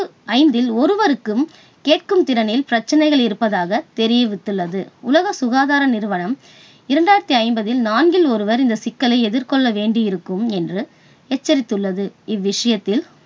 ஐந்தில் ஒருவருக்கும் கேட்கும் திறனில் பிரச்சனைகள் இருப்பதாக தெரிவித்துள்ளது. உலக சுகாதார நிறுவனம் இரண்டாயிரத்தி ஐம்பதில் நான்கில் ஒருவர் இந்த சிக்கலை எதிர்கொள்ள வேண்டியிருக்கும் என்று எச்சரித்துள்ளது. இவ்விஷயத்தில்